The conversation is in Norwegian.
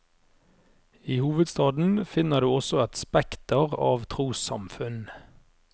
I hovedstaden finner du også et spekter av trossamfunn.